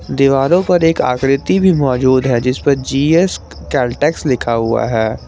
दीवारों पर एक आकृति भी मौजूद है जिस पर जी_एस कैलटेक्स लिखा हुआ है।